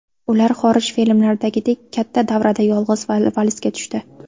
Ular xorij filmlaridagidek katta davrada yolg‘iz valsga tushdi.